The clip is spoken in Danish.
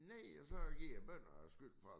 Nej og så giver bønderne skylden for at